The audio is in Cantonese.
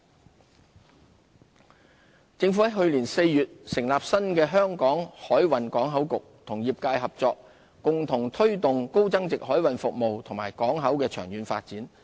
海運業政府於去年4月成立新的香港海運港口局，與業界合作，共同推動高增值海運服務業和港口的長遠發展。